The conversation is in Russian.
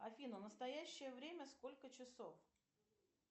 афина настоящее время сколько часов